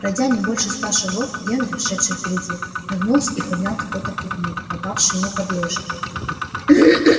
пройдя не больше ста шагов генри шедший впереди нагнулся и поднял какой то предмет попавший ему под лыжи